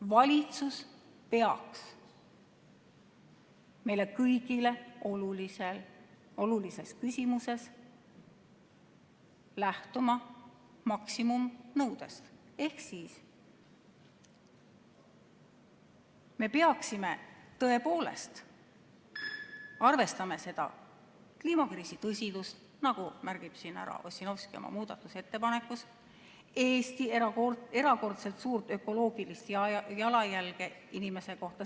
Valitsus peaks meile kõigile olulises küsimuses lähtuma maksimumnõudest ehk me peaksime tõepoolest arvestama kliimakriisi tõsidust, nagu märkis Ossinovski oma muudatusettepanekus, ka Eesti erakordselt suurt ökoloogilist jalajälge inimese kohta.